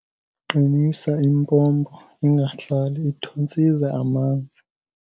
Qinisa impompo ingahlali ithontsiza amanzi.